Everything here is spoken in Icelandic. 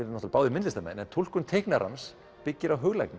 náttúrulega báðir myndlistarmenn en túlkun teiknarans byggir á